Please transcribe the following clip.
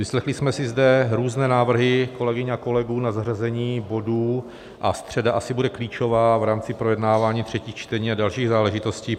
Vyslechli jsme si zde různé návrhy kolegyň a kolegů na zařazení bodů a středa asi bude klíčová v rámci projednávání třetích čtení a dalších záležitostí.